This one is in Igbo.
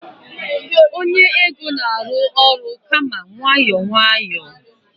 onye ego na-arụ ọrụ kama nwayọọ nwayọọ